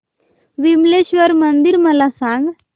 विमलेश्वर मंदिर मला सांग